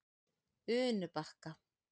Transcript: Unubakka